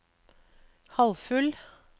halvfull